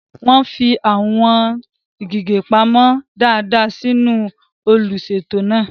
Wọ́n fi àwọn gègé pamọ́ dáadáa sínú olùṣètò náà.